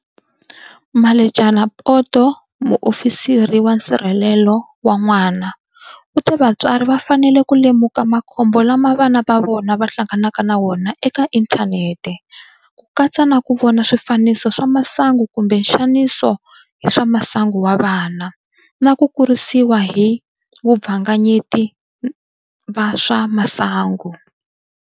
Mmaletjema Poto, Muofisiri wa Nsirhelelo wa N'wana, u te vatswari va fanele ku lemuka makhombo lama vana va vona va hlanganaka na wona eka inthanete, ku katsa na ku vona swifaniso swa masangu kumbe nxaniso hi swa masangu wa vana, na ku kurisiwa hi vabvanyengeti va swa masangu.